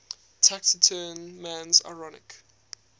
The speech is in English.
taciturn man's ironic